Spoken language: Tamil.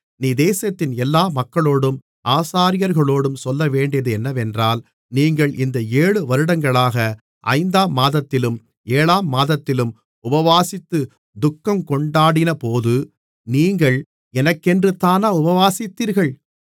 நீ தேசத்தின் எல்லா மக்களோடும் ஆசாரியர்களோடும் சொல்லவேண்டியது என்னவென்றால் நீங்கள் இந்த எழுபது வருடங்களாக ஐந்தாம் மாதத்திலும் ஏழாம் மாதத்திலும் உபவாசித்து துக்கங்கொண்டாடினபோது நீங்கள் எனக்கென்றுதானா உபவாசித்தீர்கள்